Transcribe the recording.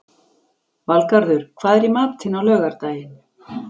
Valgarður, hvað er í matinn á laugardaginn?